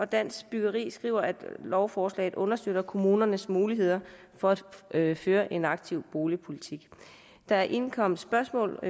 dansk byggeri skriver at lovforslaget understøtter kommunernes muligheder for at føre en aktiv boligpolitik der er indkommet spørgsmål